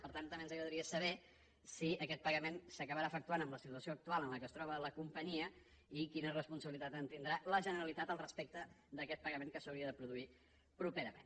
per tant també ens agradaria saber si aquest pagament s’acabarà efectuant en la situació actual en què es troba la companyia i quina responsabilitat tindrà la generalitat respecte d’aquest pagament que s’hauria de produir properament